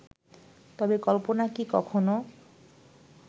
তবে কল্পনা কি কখনো